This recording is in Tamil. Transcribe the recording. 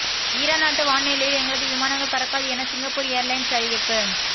ஈரான் நாட்டு வான் எல்லையில் எங்களது விமானங்கள் பறக்காது என சிங்கப்பூர் ஏர்லைன்ஸ் அறிவிப்பு